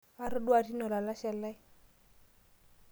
Atodua tine olalashe lai.